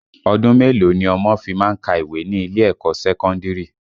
Ọdún mélòó ni ọmọ fi má ń ka ìwé ní ilé ẹ̀kọ́ sẹ́kọ́ndìrì?